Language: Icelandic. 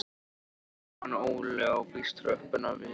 Nema hann Óli á víst tröppurnar við